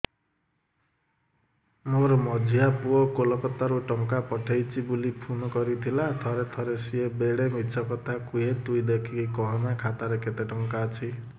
ମୋର ମଝିଆ ପୁଅ କୋଲକତା ରୁ ଟଙ୍କା ପଠେଇଚି ବୁଲି ଫୁନ କରିଥିଲା ଥରେ ଥରେ ସିଏ ବେଡେ ମିଛ କଥା କୁହେ ତୁଇ ଦେଖିକି କହନା ଖାତାରେ କେତ ଟଙ୍କା ଅଛି